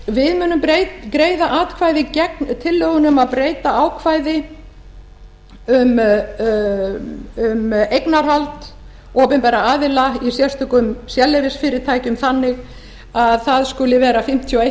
við munum greiða atkvæði gegn tillögunni um að breyta ákvæði um eignarhald opinberra aðila í sérstökum sérleyfisfyrirtækjum banni að það skuli vera fimmtíu og eitt